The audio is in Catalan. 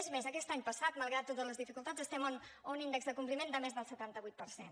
és més aquest any passat malgrat totes les dificultats estem a un índex de compliment de més del setanta vuit per cent